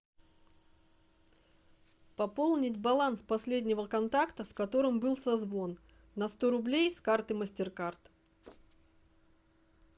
пополнить баланс последнего контакта с которым был созвон на сто рублей с карты мастеркард